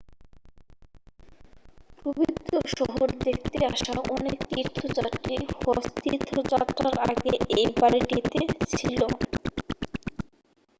পবিত্র শহর দেখতে আসা অনেক তীর্থযাত্রী হজ তীর্থযাত্রার আগে এই বাড়িটিতে ছিল